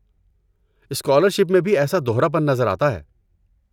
Scholarship میں بھی ایسا دہراپن نظر آتا ہے۔